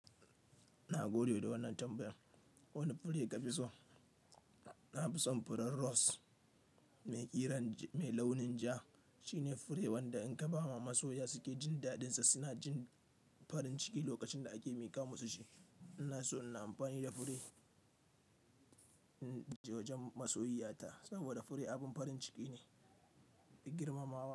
Ina godiya da wannan tambayan. Wani fure ka fi so? Na fi son furen rose mai ƙiran mai launin ja. Shine fure wanda in ka ba ma masoya suke jin daɗinsa, suna jin farin ciki lokacin da ake miƙa musu shi. Ina so ina amfani da fure, uh, wajen masoyiyata saboda fure abin farin ciki ne, girmamawa.